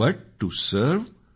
but to serve